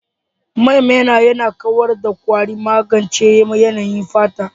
Man maina yana kawar da kwari, magance yanayin fata.